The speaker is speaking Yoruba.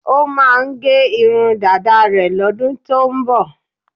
Ó máà ń gẹ irun dáda rẹ̀ lọ́dún tó ń bọ̀.